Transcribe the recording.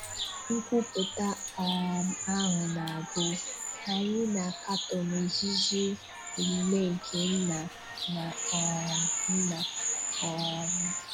Nkwupụta um ahụ na-agụ: Anyị na-akatọ n'ozuzu omume nke nne na um nna. um